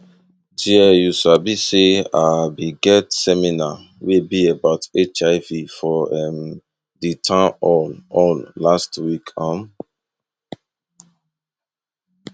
there you sabi say ah been get seminar wey be about hiv for um di town hall hall last week um